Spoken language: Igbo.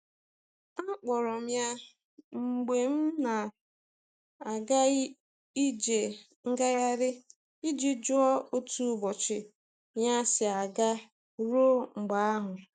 Akpọrọ m ya mgbe m na'aga ije ngaghari i ji jụọ otu ụbọchị ya si aga ruo mgbe ahụ.